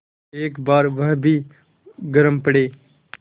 एक बार वह भी गरम पड़े